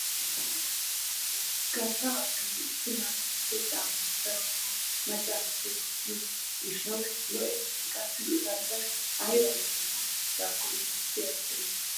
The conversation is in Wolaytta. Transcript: Garssa baggay issi mala gidido caammaa darotoo macca naati wottiyoo giishshawu lo"esi shin qassi a galbbay ayba meran oosettidakonne nusi erettena.